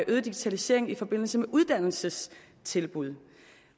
øget digitalisering i forbindelse med uddannelsestilbud